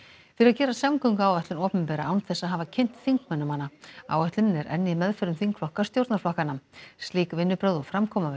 fyrir að gera samgönguáætlun opinbera án þess að hafa kynnt þingmönnum hana áætlunin er enn í meðförum þingflokka stjórnarflokkanna slík vinnubrögð og framkoma við